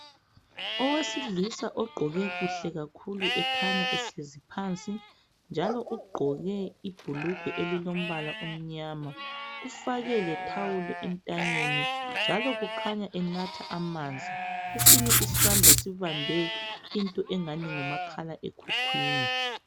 Owesilisa ogqoke kuhle kakhulu ekhanya ehlezi phansi. Ugqoke ibhulugwe elilombala omnyama ufake lethawulo entanyeni. Kukhanya enatha amanzi. Esinye isandla sibambe umakhalekhukhwini